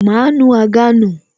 Máa nu àga nù